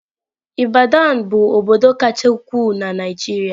Ibadan bụ obodo kacha ukwuu na Naịjirịa.